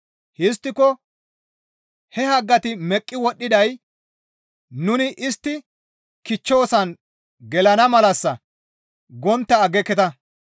Histtiko, «He haggati meqqi wodhdhiday nuni istti kichchoosan gelana malassa» gontta aggeketa.